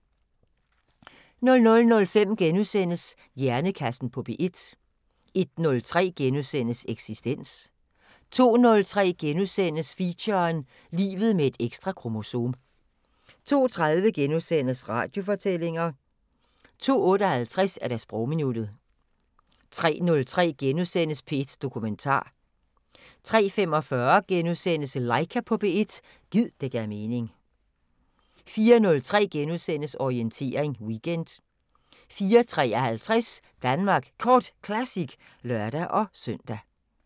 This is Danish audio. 00:05: Hjernekassen på P1 * 01:03: Eksistens * 02:03: Feature: Livet med et ekstra kromosom * 02:30: Radiofortællinger * 02:58: Sprogminuttet 03:03: P1 Dokumentar * 03:45: Laika på P1 – gid det gav mening * 04:03: Orientering Weekend * 04:53: Danmark Kort Classic (lør-søn)